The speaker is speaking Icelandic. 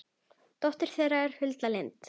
dóttir þeirra er Hulda Lind.